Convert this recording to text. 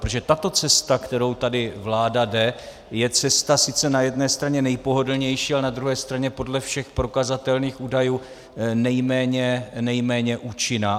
Protože tato cesta, kterou tady vláda jde, je cesta sice na jedné straně nejpohodlnější, ale na druhé straně podle všech prokazatelných údajů nejméně účinná.